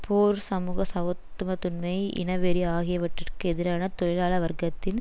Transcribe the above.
போர் சமூக சவத்துவத்துன்மை இனவெறி ஆகியவற்றிற்கு எதிரான தொழிலாள வர்க்கத்தின்